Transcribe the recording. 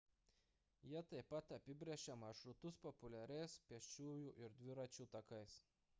jie taip pat apibrėžia maršrutus populiariais pėsčiųjų ir dviračių takais